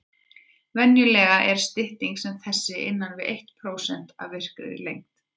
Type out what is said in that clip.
Venjulega er stytting sem þessi innan við eitt prósent af virkri lengd.